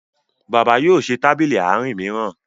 bàbá yóò ṣe Tábìlì Àárín míràn